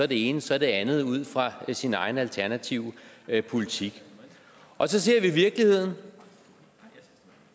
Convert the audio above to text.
det ene så det andet ud fra sin egne alternative politik så ser vi virkeligheden